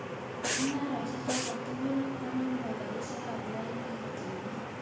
Mungarosiek choto tugul koname karisiek ab lainit", kimwa.